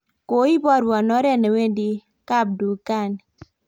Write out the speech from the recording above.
koiboruon oret ne wendi kapdukani